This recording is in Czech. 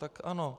Tak ano.